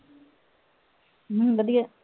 ਹੂੰ ਵਧੀਆ